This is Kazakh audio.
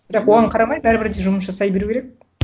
бірақ оған қарамай бәрібір де жұмыс жасай беру керек